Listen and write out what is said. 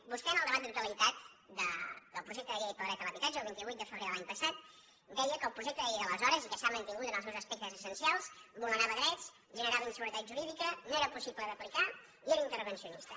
vostè en el debat de la totalitat del projecte de llei del dret a l’habitatge el vint vuit de febrer de l’any passat deia que el projec te de llei d’aleshores i que s’ha mantingut en els seus aspec tes essencials vulnerava drets generava inseguretat jurídica no era possible d’aplicar i era intervencionista